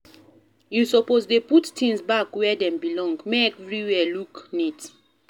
You suppose dey put tins back where dem belong, make everywhere look neat.